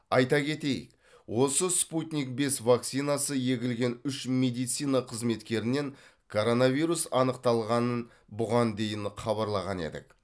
айта кетейік осы спутник бес вакцинасы егілген үш медицина қызметкерінен коронавирус анықталғанын бұған дейін хабарлаған едік